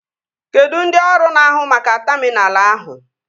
Kedụ ndị ọrụ na-ahu maka taminal ahụ?